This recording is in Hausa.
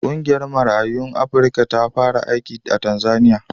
Ƙungiyar Marayun Afrika ta fara aiki a Tanzaniya.